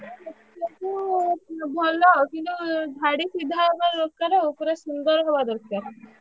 ହଁ ଲେଖିଆକୁ ଭଲ କିନ୍ତୁ ଧାଡ଼ି ସିଧା ହବାର ଦରକାର ଆଉ ପୁରା ସୁନ୍ଦର ହବା ଦରକାର।